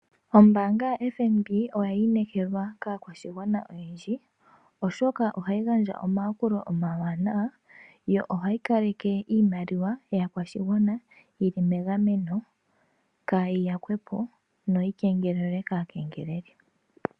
Ombaanga yo FNB oyi inekelwa kaakwashigwana oyendji oshoka ohayi gandja omayakulo omawanawa yo ohayi kaleke iimaliwa yaakwashigwana yili megameno, kayi yakwepo no yi kengelelwe kaakengeleli.